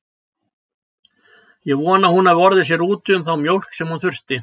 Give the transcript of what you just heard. Ég vona að hún hafi orðið sér úti um þá mjólk sem hún þurfti.